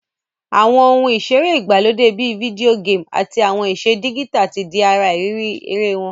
Àwon oun ìseré ìgbàlódé bi video game àtí àwon ìse digital ti di ara ìrírí eré won